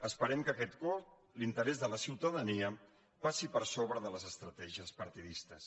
esperem que aquest cop l’interès de la ciutadania passi per sobre de les estratègies partidistes